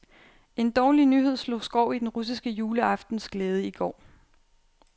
En dårlig nyhed slog skår i den russiske juleaftens glæde i går.